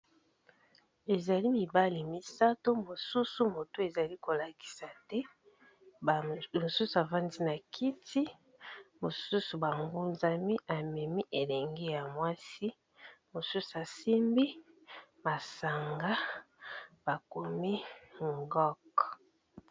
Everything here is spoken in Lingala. Ezali mibali misato mosusu moto ezali ko lakisa te, mosusu avandi na kiti mosusu ba ngunzami amemi elenge ya mwasi mosusu asimbi masanga bakomi ngok.